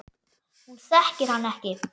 Hún þekkir hann ekki.